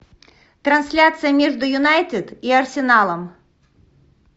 трансляция между юнайтед и арсеналом